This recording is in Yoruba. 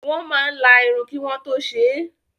Wọ́n máa la irun kí wọ́n tó ṣe é.